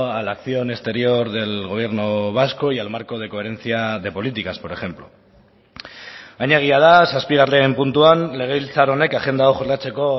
a la acción exterior del gobierno vasco y al marco de coherencia de políticas por ejemplo baina egia da zazpigarren puntuan legebiltzar honek agenda hau jorratzeko